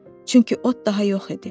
Çünki ot daha yox idi.